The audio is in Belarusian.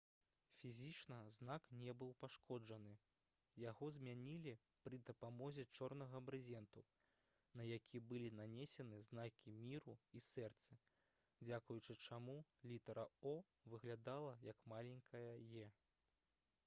фізічна знак не быў пашкоджаны; яго змянілі пры дапамозе чорнага брызенту на які былі нанесены знакі міру і сэрцы дзякуючы чаму літара «o» выглядала як маленькая «e»